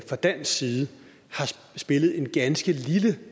fra dansk side har spillet en ganske lille